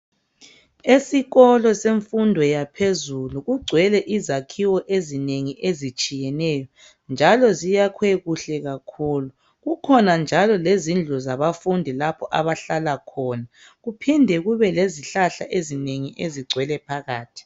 Esikolo semfundo yaphezulu kugcwele izakhiwo ezinengi ezitshiyeneyo njalo ziyakhwe kuhle kakhulu. Kukhona njalo lezindlu zabafundi lapho abahlala khona kuphinde kubelezihlahla ezinengi ezigcwele phakathi.